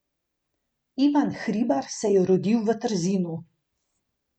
Ivan Hribar se je rodil v Trzinu.